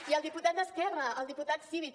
i el diputat d’esquerra el diputat civit